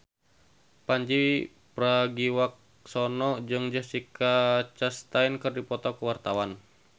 Pandji Pragiwaksono jeung Jessica Chastain keur dipoto ku wartawan